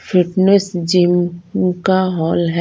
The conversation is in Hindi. फिटनेस जिम का हॉल है।